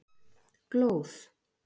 Glóð